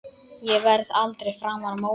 Ég verð aldrei framar móðir.